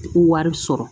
Ko wari sɔrɔ